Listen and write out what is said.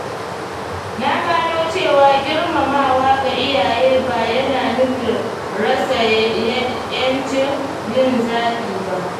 Na gano cewa girmamawa ga iyaye ba yana nufin rasa ‘yancin yin zaɓi ba.